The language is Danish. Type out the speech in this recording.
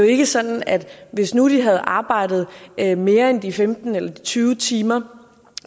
ikke sådan at hvis nu de havde arbejdet mere mere end de femten eller tyve timer